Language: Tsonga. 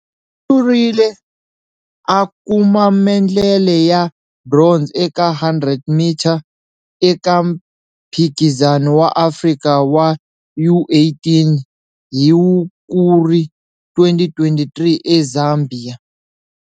U hlurile a kuma mendlele ya bronze eka 100m eka Mphikizano wa Afrika wa U18 hi Hukuri 2023 eZambia.